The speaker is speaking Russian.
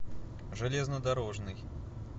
железнодорожный